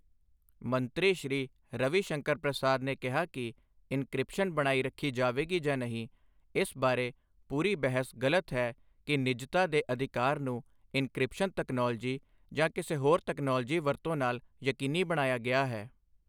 ਮੰਤਰੀ ਸ਼੍ਰੀ ਰਵੀ ਸ਼ੰਕਰ ਪ੍ਰਸਾਦ ਨੇ ਕਿਹਾ ਕਿ, ਇਨਕ੍ਰਿਸਪ਼ਨ ਬਣਾਈ ਰੱਖੀ ਜਾਵਗੀ ਜਾਂ ਨਹੀਂ, ਇਸ ਬਾਰੇ ਪੂਰੀ ਬਹਿਸ ਗਲਤ ਹੈ ਕਿ ਨਿੱਜਤਾ ਦੇ ਅਧਿਕਾਰ ਨੂੰ ਇਨਕ੍ਰਿਪਸ਼ਨ ਤਕਨਾਲੋਜੀ ਜਾਂ ਕਿਸੇ ਹੋਰ ਤਕਨਾਲੋਜੀ ਵਰਤੋਂ ਨਾਲ ਯਕੀਨੀ ਬਣਾਇਆ ਗਿਆ ਹੈ।